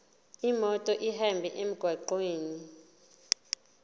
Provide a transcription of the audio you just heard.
imoto ihambe emgwaqweni